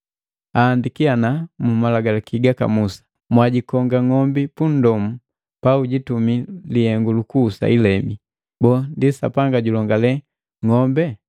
Ahaandiki mu malagalaki gaka Musa, “Mwajikonga ng'ombi punndomu paujitumi lihengu lukuhusa ilebi.” Boo, ndi Sapanga julongale ng'ombe?